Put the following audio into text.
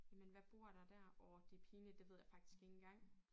Jamen hvad bor der dér åh orh det pinligt det ved jeg faktisk ikke engang